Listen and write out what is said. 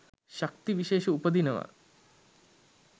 ශක්ති විශේෂ උපදිනවා.